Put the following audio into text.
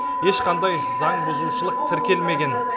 ешқандай заң бұзушылық тіркелмеген